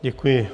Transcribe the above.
Děkuji.